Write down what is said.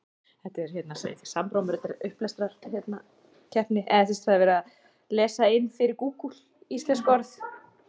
má þar sennilega kenna um minna fæðuframboði í hafinu